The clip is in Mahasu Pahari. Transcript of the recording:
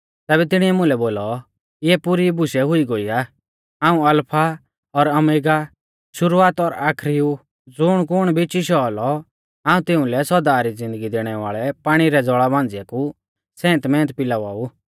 तैबै तिणिऐ मुलै बोलौ इऐ बुशै पुरी हुई गोई आ हाऊं अलफा और ओमेगा शुरुवात और आखरी ऊ ज़ुणकुण भी चिशौ औलौ हाऊं तिंउलै सौदा री ज़िन्दगी दैणै वाल़ै पाणी रै ज़ौल़ा मांझ़िआ कु सेंत मेंत पिलावा ऊ